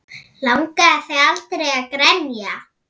Langaði þig aldrei að grenja?